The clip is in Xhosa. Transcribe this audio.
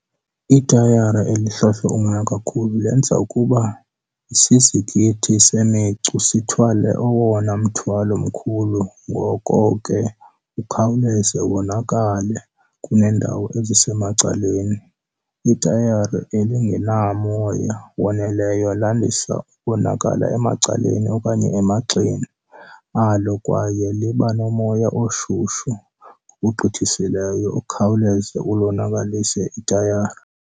Itayara elihlohlwe umoya kakhulu lenza ukuba isizikithi semicu sithwale owona mthwalo mkhulu ngoko ke ukhawuleza wonakale kuneendawo ezisemacaleni. Itayara elingenamoya waneleyo landisa ukonakala emacaleni okanye emagxeni alo kwaye liba nomoya oshushu ngokugqithisileyo okhawuleza ulonakalise itayara.